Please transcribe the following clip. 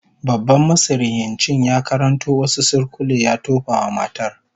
Babban masihircin ya karanto wasu surkulle ya tofa wa matar